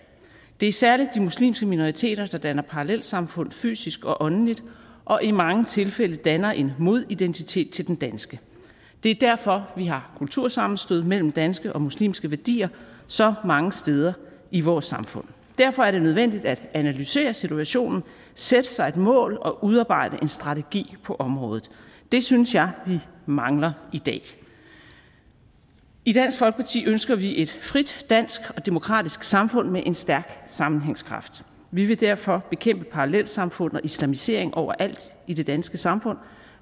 det er særlig de muslimske minoriteter der danner parallelsamfund fysisk og åndeligt og i mange tilfælde danner en modidentitet til den danske det er derfor vi har kultursammenstød mellem danske og muslimske værdier så mange steder i vores samfund derfor er det nødvendigt at analysere situationen sætte sig et mål og udarbejde en strategi på området det synes jeg vi mangler i dag i dansk folkeparti ønsker vi et frit dansk og demokratisk samfund med en stærk sammenhængskraft vi vil derfor bekæmpe parallelsamfund og islamisering overalt i det danske samfund